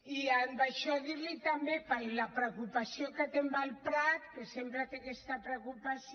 i amb això dir li també la preocupació que té amb el prat que sempre té aquesta preocupació